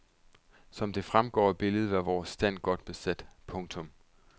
Som det fremgår af billedet var vores stand godt besat. punktum